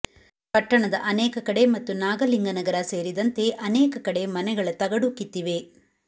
ಪಟ್ಟಣದ ಅನೇಕ ಕಡೆ ಮತ್ತು ನಾಗಲಿಂಗನಗರ ಸೇರಿದಂತೆ ಅನೇಕ ಕಡೆ ಮನೆಗಳ ತಗಡು ಕಿತ್ತಿವೆ